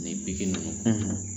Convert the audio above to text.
Ni bigi nunnu